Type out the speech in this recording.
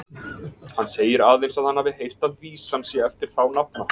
Hann segir aðeins, að hann hafi heyrt að vísan sé eftir þá nafna.